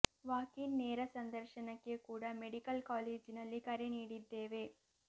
walk in ನೇರ ಸಂದರ್ಶನಕ್ಕೆ ಕೂಡ ಮೆಡಿಕಲ್ ಕಾಲೇಜಿನಲ್ಲಿ ಕರೆ ನೀಡಿದ್ದೇವೆ